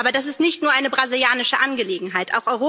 Aber das ist nicht nur eine brasilianische Angelegenheit.